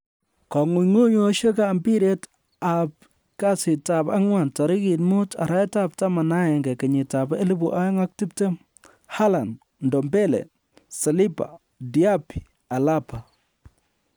kong'ung'uyosiekab mpiret aby Kasitab angwan tarigit 05/11/2020:Haaland, Ndombele, Saliba, Diaby, Alaba